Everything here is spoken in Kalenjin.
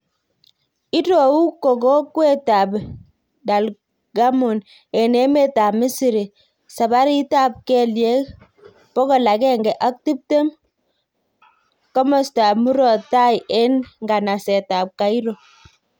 Irou ko kokwet ab Dalgamon en emet ab Misri, sabarit ab kelyek pokolagenege ak tiptem ,koastab muroot taii en nganest ab Cairo